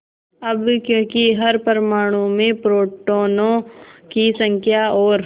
अब क्योंकि हर परमाणु में प्रोटोनों की संख्या और